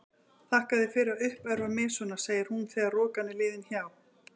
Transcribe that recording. Þakka þér fyrir að uppörva mig svona, segir hún þegar rokan er liðin hjá.